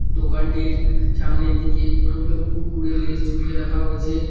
দোকানটির সামনের দিকে অনেকগুলো কুড়কুড়ে লেইস ঝুলিয়ে রাখা হয়েছে।